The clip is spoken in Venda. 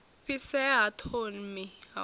fhisea ha thomi ha u